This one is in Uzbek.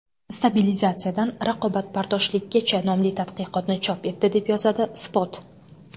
Stabilizatsiyadan raqobatbardoshlikgacha” nomli tadqiqotni chop etdi, deb yozadi Spot.